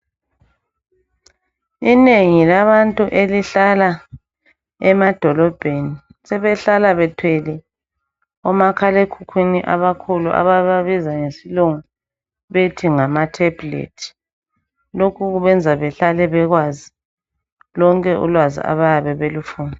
Inengi labantu elihlala emadolobheni sebehlala bethwele omakhalekhukhwini abakhulu ababiza ngesilungu bethi ngamatablet. Lokhu kubenza behlale bekwazi lonke ulwazi abayabe belifuna.